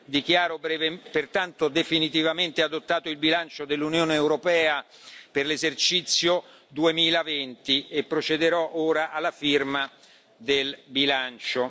Dichiaro pertanto definitivamente adottato il bilancio dell'Unione europea per l'esercizio 2020 e procederò ora alla firma del bilancio.